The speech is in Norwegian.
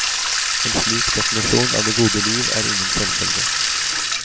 En slik definisjon av det gode liv er ingen selvfølge.